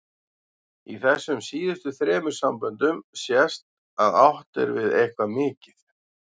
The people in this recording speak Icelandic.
Í þessum síðustu þremur samböndum sést að átt er við eitthvað mikið.